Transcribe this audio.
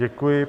Děkuji.